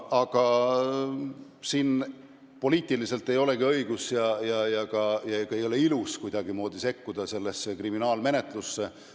Aga poliitiliselt ei olekski õige ega ilus kuidagimoodi sellesse kriminaalmenetlusse sekkuda.